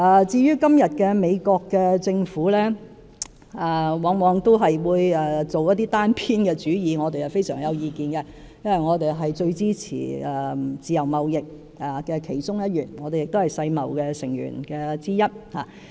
至於現時美國政府往往作出一些單邊主義行為，我們對此非常有意見，因為我們是最支持自由貿易的其中一員，亦是世界貿易組織的成員之一。